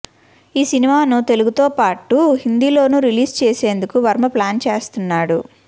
ఈ సినిమాను తెలుగుతో పాటు హిందీలోనూ రిలీజ్ చేసేందుకు వర్మ ప్లాన్ చేస్తున్నాడు